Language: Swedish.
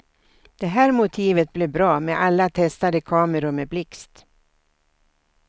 Det här motivet blev bra med alla testade kameror med blixt.